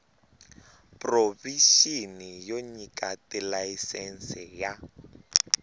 provixini yo nyika tilayisense ya